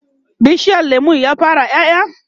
bishiyar lemun ya fara ƴaƴa?